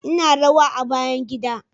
Ina rawa a bayan gida